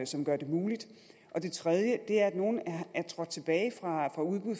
som gør det muligt og det tredje er at nogle er trådt tilbage fra udbud